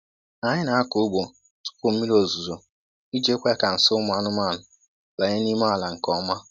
Anyị na-akọ ugbo tupu mmiri ozuzo iji kwe ka nsị ụmụ anụmanụ banye n'ime ala nke ọma.